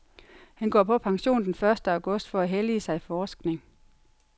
Han går på pension den første august for at hellige sig forskning.